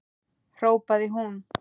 hrópaði hún.